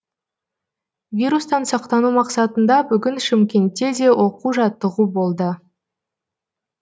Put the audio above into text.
вирустан сақтану мақсатында бүгін шымкентте де оқу жаттығу болды